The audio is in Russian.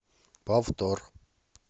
повтор